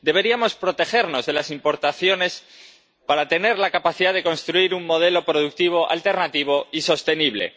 Deberíamos protegernos de las importaciones para tener la capacidad de construir un modelo productivo alternativo y sostenible.